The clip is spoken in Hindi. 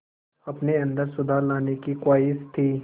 अपने अंदर सुधार लाने की ख़्वाहिश थी